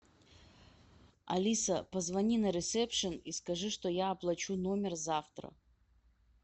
алиса позвони на ресепшен и скажи что я оплачу номер завтра